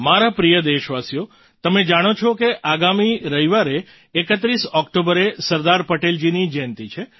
મારા પ્રિય દેશવાસીઓ તમે જાણો છો કે આગામી રવિવારે 31 ઑક્ટોબરે સરદાર પટેલજીની જયંતી છે